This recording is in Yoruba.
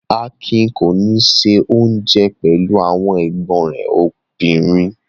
Akin kò ní se oúnjẹ pẹ̀lú àwọn ẹ̀gbọ́n rẹ̀ obìnrin.